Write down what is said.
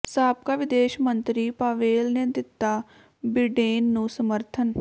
ਸਾਬਕਾ ਵਿਦੇਸ਼ ਮੰਤਰੀ ਪਾਵੇਲ ਨੇ ਦਿੱਤਾ ਬਿਡੇਨ ਨੂੰ ਸਮੱਰਥਨ